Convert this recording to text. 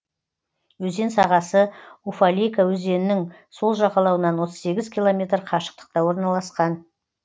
өзен сағасы уфалейка өзенінің сол жағалауынан отыз сегіз километр қашықтықта орналасқан